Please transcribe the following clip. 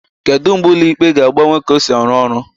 Kedu mgbe ụlọ ikpe ga-agbanwe ka ọ si arụ ọrụ?